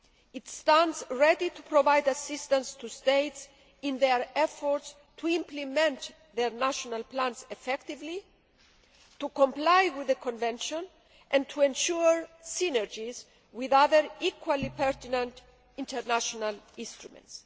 It stands ready to provide assistance to states in their efforts to implement their national plans effectively, to comply with the Convention and to ensure synergies with other equally pertinent international instruments.